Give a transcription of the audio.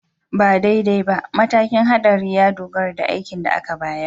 Ba daidai ba, matakin haɗari ya dogara da aikin da aka bayar